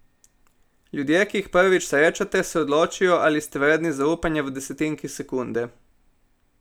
Ljudje, ki jih prvič srečate, se odločijo, ali ste vredni zaupanja v desetinki sekunde.